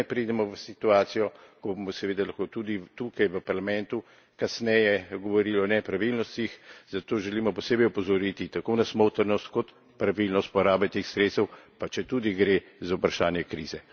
Da ne pridemo v situacijo, ko bomo seveda lahko tudi tukaj v Parlamentu kasneje govorili o nepravilnostih, zato želimo posebej opozoriti tako na smotrnost kot na pravilnost porabe teh sredstev, pa četudi gre za vprašanje krize.